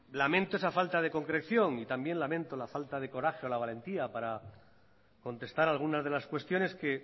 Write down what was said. lamento esa falta de concreción y también lamento la falta de coraje o la valentía para contestar algunas de las cuestiones que